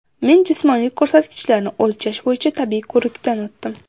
Men jismoniy ko‘rsatkichlarni o‘lchash bo‘yicha tibbiy ko‘rikdan o‘tdim.